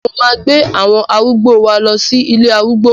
Mo máa gbé àwọn arúgbó wa lọ sí ilé arúgbó